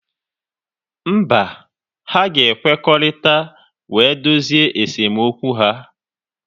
Mba, ha ga-ekwekọrịta wee dozie esemokwu ha.